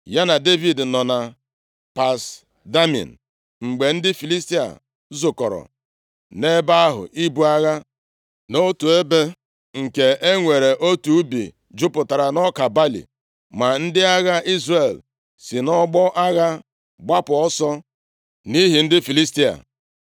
Ya na Devid nọ na Pas Damin mgbe ndị Filistia zukọrọ nʼebe ahụ ibu agha. Nʼotu ebe, nke e nwere otu ubi jupụtara nʼọka balị, ma ndị agha Izrel si nʼọgbọ agha gbapụ ọsọ nʼihi ndị Filistia.